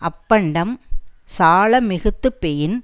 அப்பண்டம் சால மிகுத்து பெயின்